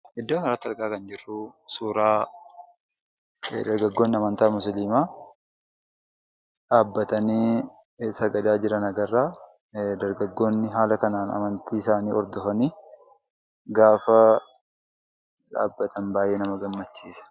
Iddoo kana irratti kan argaa jirru suura dargaggoonni amantaa musliimaa dhaabbatanii sagadaa jiran argina. Dargaggoonni haala kanaan amantii isaani hordofanii gaafa dhaabbatan baay'ee nama gammachiisa.